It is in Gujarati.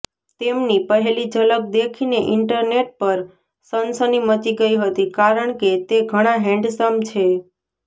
તેમની પહેલી ઝલક દેખીને ઈન્ટરનેટ પર સનસની મચી ગઈ હતી કારણકે તે ઘણા હેન્ડસમ છે